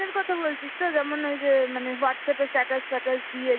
এর কথা বলছিস তো যেমন ওই যে মানে whtasapp এ status ফ্যাটাস দিয়ে